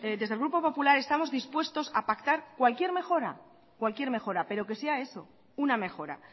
desde el grupo popular estamos dispuestos a pactar cualquier mejora pero que sea eso una mejora